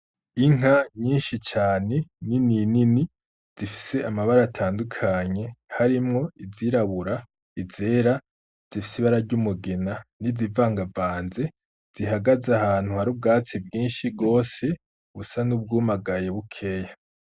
Inka nyinshi cane nini nini zifise amabara atandukanye, harimwo izirabura, izera zifise ibara ry'umugina, n'izivangavanze, zihagaze ahantu hari ubwatsi bwinshi gose busa n'ubwumagaye bukeya.